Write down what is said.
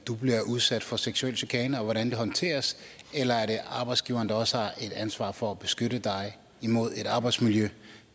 bliver udsat for seksuel chikane og hvordan det håndteres eller har arbejdsgiveren også et ansvar for at beskytte dig imod et arbejdsmiljø